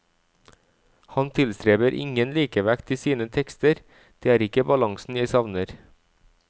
Han tilstreber ingen likevekt i sine tekster, det er ikke balansen jeg savner.